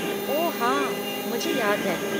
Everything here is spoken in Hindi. ओह हाँ, मुझे याद है।